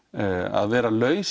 að vera laus